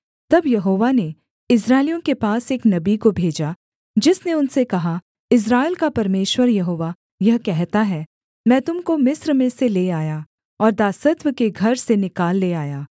तब यहोवा ने इस्राएलियों के पास एक नबी को भेजा जिसने उनसे कहा इस्राएल का परमेश्वर यहोवा यह कहता है मैं तुम को मिस्र में से ले आया और दासत्व के घर से निकाल ले आया